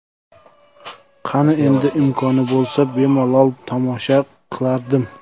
Qani edi, imkoni bo‘lsa, bemalol tomosha qilardim.